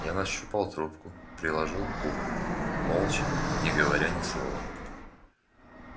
я нащупал трубку приложил к уху молча не говоря ни слова